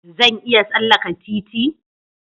Zan iya tsallaka titi?